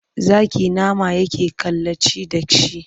Zaki nama yake kalaci da shi.